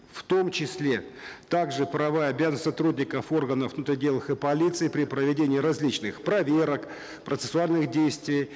в том числе также правовая обязанность сотрудников органов внутренних дел и полиции при проведении различных проверок процессуальных действий